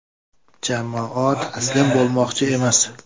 Jamoa taslim bo‘lmoqchi emas.